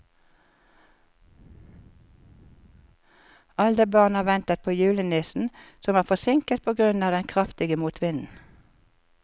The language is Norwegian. Alle barna ventet på julenissen, som var forsinket på grunn av den kraftige motvinden.